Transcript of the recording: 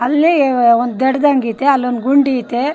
ಅಲ್ಲೇ ಒಂದ್ ದಡದಂಗ್ ಅಯ್ತೆ ಅಲ್ ಒಂದ್ ಗುಂಡಿ ಅಯ್ತೆ --